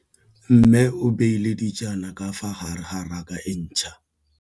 Mmê o beile dijana ka fa gare ga raka e ntšha.